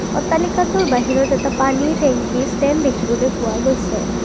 অট্টালিকাটোৰ বাহিৰত এটা পানীৰ টেংকি ষ্টেণ্ড দেখিবলৈ পোৱা গৈছে।